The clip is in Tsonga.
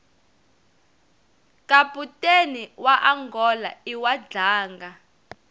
kaputeni waangola iwadlanga